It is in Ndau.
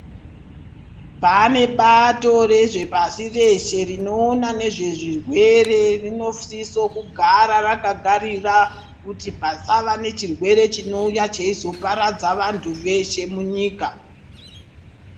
Pane bato rezvepashi reshe rinoona nezvezvirwere rinosiso kugara rakagarira kuti pasava nechirwere chinouya cheizoparadza vantu veshe munyika.